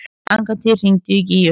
Angantýr, hringdu í Gígju.